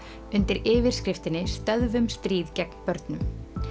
undir yfirskriftinni stöðvum stríð gegn börnum